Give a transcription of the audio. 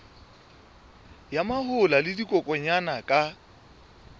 ya mahola le dikokwanyana ka